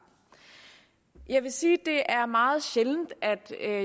jeg vil sige det er meget sjældent